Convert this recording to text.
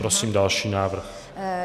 Prosím další návrh.